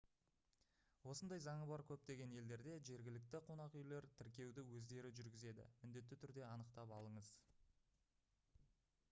осындай заңы бар көптеген елдерде жергілікті қонақүйлер тіркеуді өздері жүргізеді міндетті түрде анықтап алыңыз